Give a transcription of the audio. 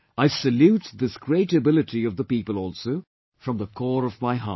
I salute this great ability of the people also from the core of my heart